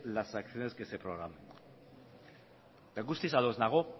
las acciones que se programen eta guztiz ados nago